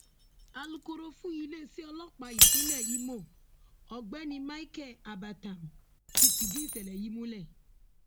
alūkòro fún iléeṣẹ ọlọpàá ìpínlẹ Imo ọgbẹni micheal abata ti fìdí ìṣẹlẹ yìí múlẹ